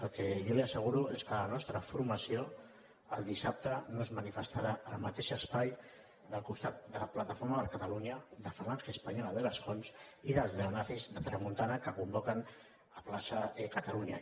el que jo li asseguro és que la nostra formació el dissabte no es manifestarà al mateix espai al costat de plataforma per catalunya de falange española de las jons i dels neonazis de tramuntana que convoquen a plaça catalunya